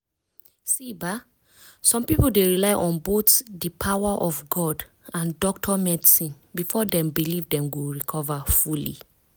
see ba some people dey rely on both di power of god and doctor medicine before dem believe dem go recover fully.